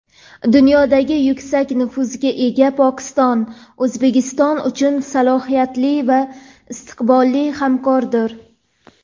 Dunyoda yuksak nufuzga ega Pokiston O‘zbekiston uchun salohiyatli va istiqbolli hamkordir.